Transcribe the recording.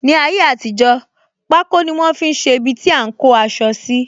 Ní ayé àtijó, pako ni wọn fi ṣe ibiti a ń kó aṣọ síi